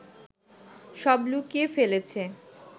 সব লুকিয়ে ফেলেছে